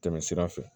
Tɛmɛ sira fɛ